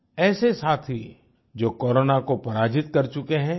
ऐसे साथी जो कोरोना को पराजित कर चुके हैं